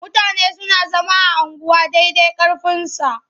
Mutane suna zama a unguwa dai dai ƙarfinsa.